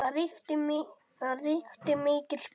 Það ríkti mikil spenna.